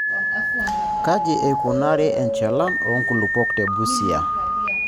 Kaji eikunari enchalan oonkulupuok te Busia.